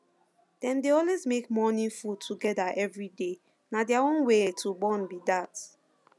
dem dey always make morning food together every day na their own way to bond be that